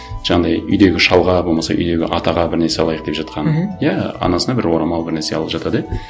жаңағындай үйдегі шалға болмаса үйдегі атаға бір нәрсе алайық деп жатқанын мхм иә анасына бір орамал бір нәрсе алып жатады иә